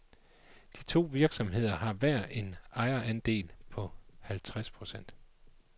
De to virksomheder har hver en ejerandel på halvtreds procent.